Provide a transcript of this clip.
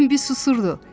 Bembi susurdu.